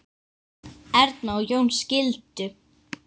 Erna og Jón skildu.